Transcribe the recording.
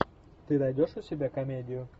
ты найдешь у себя комедию